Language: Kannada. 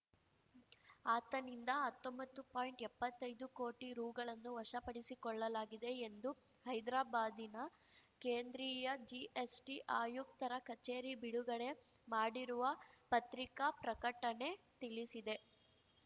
ಆತನಿಂದ ಹತ್ತೊಂಬತ್ತು ಪಾಯಿಂಟ್ಎಪ್ಪತ್ತೈದು ಕೋಟಿ ರೂಗಳನ್ನು ವಶಪಡಿಸಿಕೊಳ್ಳಲಾಗಿದೆ ಎಂದು ಹೈದ್ರಾಬಾದಿನ ಕೇಂದ್ರೀಯ ಜಿಎಸ್‌ಟಿ ಆಯುಕ್ತರ ಕಚೇರಿ ಬಿಡುಗಡೆ ಮಾಡಿರುವ ಪತ್ರಿಕಾ ಪ್ರಕಟಣೆ ತಿಳಿಸಿದೆ